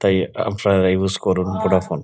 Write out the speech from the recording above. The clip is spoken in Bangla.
তাই আপনারা ইউস করুন ভোডাফোন |